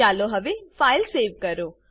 ચાલો હવે file save કરો